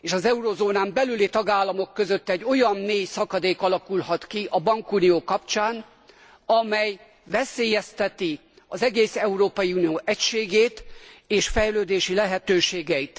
és az eurózónán belüli tagállamok között egy olyan mély szakadék alakulhat ki a bankunió kapcsán, amely veszélyezteti az egész Európai Unió egységét és fejlődési lehetőségeit.